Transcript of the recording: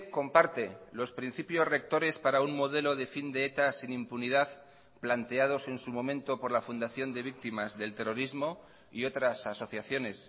comparte los principios rectores para un modelo de fin de eta sin impunidad planteados en su momento por la fundación de víctimas del terrorismo y otras asociaciones